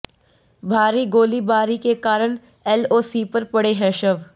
भारी गोलीबारी के कारण एलओसी पर पड़े हैं शव